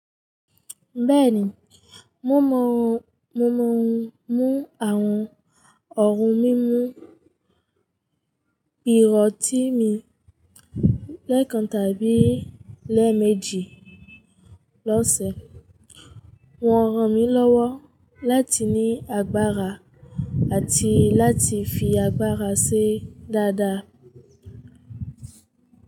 Bẹ́ẹ̀ni, mo mú àwọn ọ̀un mímu pírotíìmi lẹ́ẹ̀kan tàbí lẹ́ẹ̀méjì lọ́sẹ̀. Wọ́n ràn mí lọ́wọ́ láti ní agbára àti láti fi agbára ṣe dáadáa.